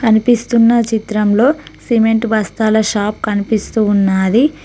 కనిపిస్తున్న చిత్రంలో సిమెంట్ బస్తాల షాప్ కనిపిస్తూ ఉన్నాది.